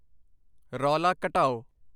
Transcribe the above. ਰੌਲਾ ਘਟਾਓ।